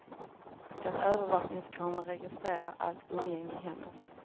En övervakningskamera registrerar allt umgänge i hemmet.